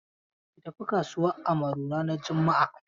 Ki tafi kasuwan Amaru ranar juma'a.